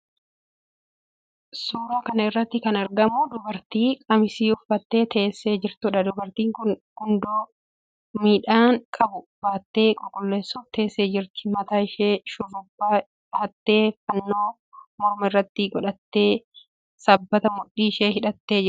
Suuraa kana irratti kan argamu dubartii qamisii uffattee teessee jirtuudha. Dubartiin kun gundoo midhaan qabu baattee qulqulleessuuf teessee jirti. Mataa ishee shurrubbaa dhahattee, fannoo morma irratti godhattee, sabbataan mudhii ishee hidhattee mul'atti.